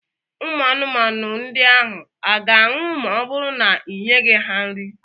Ụmụ anụmanụ ndị ahụ a ga-anwụ ma ọ bụrụ na ị nyeghị ha nri?